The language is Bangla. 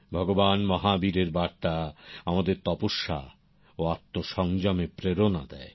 ভগবান মহাবীরের বার্তা আমাদের তপস্যা ও আত্মসংযমের প্রেরনা দেয়